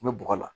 N bɛ bɔgɔ la